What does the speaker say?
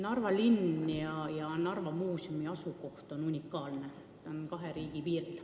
Narva linna ja Narva Muuseumi asukoht on unikaalne: nad on kahe riigi piiril.